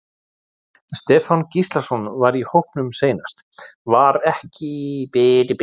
Stefán Gíslason var í hópnum seinast var hann ekki í myndinni núna?